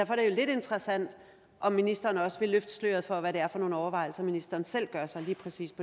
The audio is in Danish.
lidt interessant om ministeren også vil løfte sløret for hvad det er for nogle overvejelser ministeren selv gør sig på lige præcis